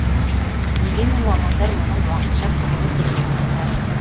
дегенмен мамандар мұның уақытша құбылыс екенін айтады